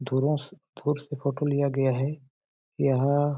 धुरस-दूर से फोटो लिया गया है यह--